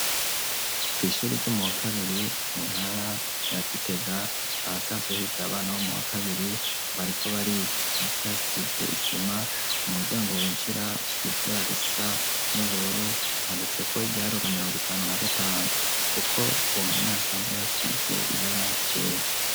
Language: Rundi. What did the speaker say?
Kw'ishyuri ryo mu wa kabiri mu ntara ya Gitega ahasanzwe higira abana bo mu wa kabiri bariko bariga hasi hasize isima umuryango winjira usize ibara risa n'ubururu handitseko igiharuro mirongo itanu na gatanu kuko hasanzwe hasize ibara ryera.